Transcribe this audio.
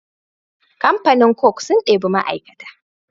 Kamfanin coke sun ɗebi ma aikata